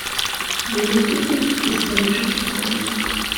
загрузи фильм из парижа с любовью